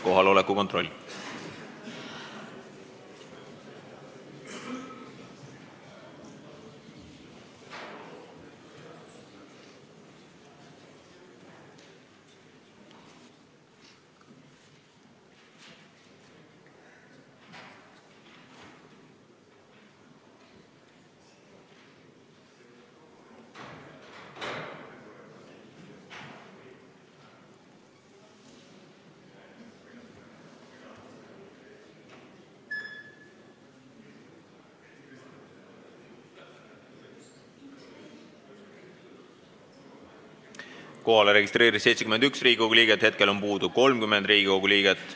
Kohaloleku kontroll Kohalolijaks registreerus 71 Riigikogu liiget, puudub 30 Riigikogu liiget.